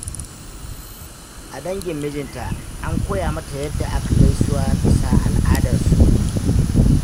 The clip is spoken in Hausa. A dangin mijinta, an koya mata yadda ake gaisuwa bisa al'adarsu.